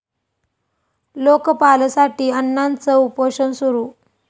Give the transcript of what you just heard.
लोकपालसाठी अण्णांचं उपोषण सुरू